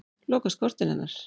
Lokast kortin hennar.